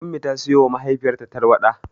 Ummi ta siyowa mahaifiyarta tarwaɗa.